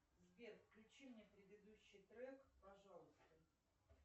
сбер включи мне предыдущий трек пожалуйста